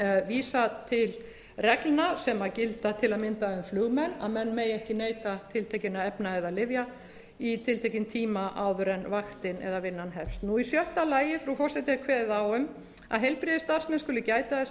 vísa til reglna sem gilda til að mynda um flugmenn að menn megi ekki neyta tiltekinna efna eða lyfja í tiltekinn tíma áður en vaktin eða vinnan hefst í sjötta lagi frú forseti er kveðið á um að heilbrigðisstarfsmenn skuli gæta þess að